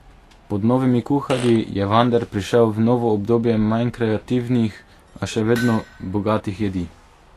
Pod novimi kuharji je Vander prišel v novo obdobje manj kreativnih, a še vedno bogatih jedi.